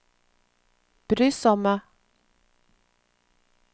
brysomme